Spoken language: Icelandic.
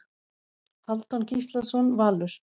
Hálfdán Gíslason Valur